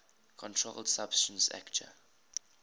controlled substances acte